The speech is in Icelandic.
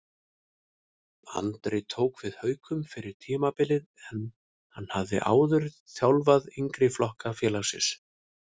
Andri tók við Haukum fyrir tímabilið en hann hafði áður þjálfaði yngri flokka félagsins.